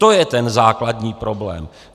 To je ten základní problém.